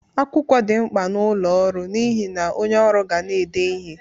Akwụkwọ dị mkpa n'ọlụ ọrụ n'ihe na onye ọrụ ga na-ede ihe.